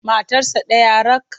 Matarsa ɗaya rak.